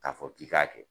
K'a fɔ k'i k'a kɛ